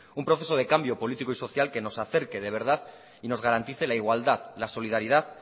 un proceso de cambio político y social que nos acerque de verdad y nos garantice la igualdad la solidaridad